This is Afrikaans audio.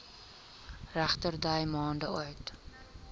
regterdy maande oud